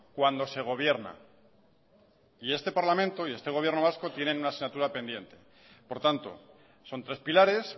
cuando se gobierna y este parlamento y este gobierno vasco tienen una asignatura pendiente por tanto son tres pilares